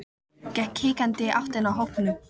Gekk hikandi í áttina að hópnum.